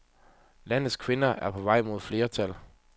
Landets kvinder er på vej mod flertal.